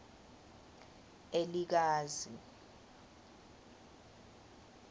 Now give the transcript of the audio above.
elikazi